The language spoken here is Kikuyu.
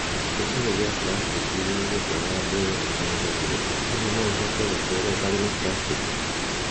Gĩcũhĩ gĩa plastiki gĩgũtwara njera Tanzania Hihi no ũhote gũtũũra ũtarĩ na plastiki?